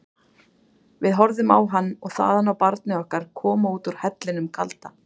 Við horfðum á hann og þaðan á barnið okkar koma út úr hellinum kalda.